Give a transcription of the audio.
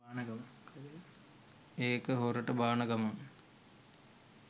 එක හොරට බාන ගමන්